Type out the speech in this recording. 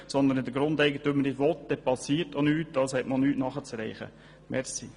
Wenn der Grundeigentümer nicht will, dann geschieht auch nichts.